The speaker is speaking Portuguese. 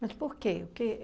Mas por quê? O que